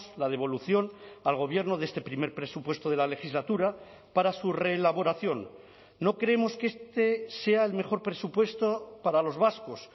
la devolución al gobierno de este primer presupuesto de la legislatura para su reelaboración no creemos que este sea el mejor presupuesto para los vascos